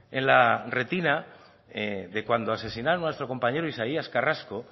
en la retina de cuando asesinaron a nuestro compañero isaías carrasco